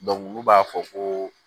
olu b'a fɔ ko